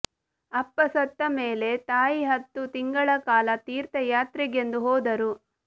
ಅಪ್ಪ ಸತ್ತ ಮೇಲೆ ತಾಯಿ ಹತ್ತು ತಿಂಗಳ ಕಾಲ ತೀರ್ಥಯಾತ್ರೆಗೆಂದು ಹೋದರು